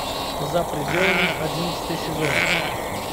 за пределами одиннадцатый сезон